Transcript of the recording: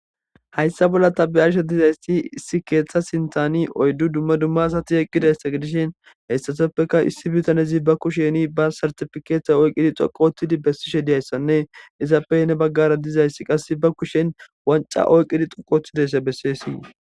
Hayssa bolla tabiyarshe dizaysti issi keeththa sintani oyddu dumma dumma asati eqqidayssa gedishin heyssatoppeka issi bitanezi ba kusheni ba sartifikeeta oyqqidi xoqottidi bessishe diyayssanne izappey ne baggara dizayssi qass ba kushen wanca oyqqidi xoqootidaysse besseessii.